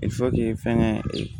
fɛnkɛ